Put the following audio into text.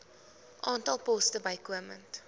aantal poste bykomend